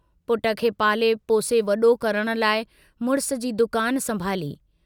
पुट खे पाले पोसे वडो करण लाइ मुड़िस जी दुकान संभाली।